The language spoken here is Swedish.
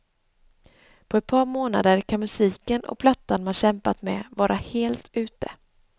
På ett par månader kan musiken och plattan man kämpat med vara helt ute.